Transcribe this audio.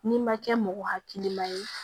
N'i ma kɛ mɔgɔ hakilima ye